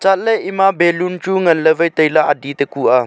chatley ema baloon chu ngan ley wai tai ley adi te kuh a.